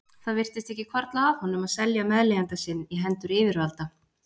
Það virtist ekki hvarfla að honum að selja meðleigjanda sinn í hendur yfirvalda.